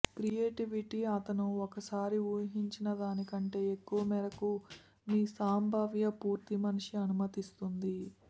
creativity అతను ఒకసారి ఊహించిన దాని కంటే ఎక్కువ మేరకు మీ సంభావ్య పూర్తి మనిషి అనుమతిస్తుంది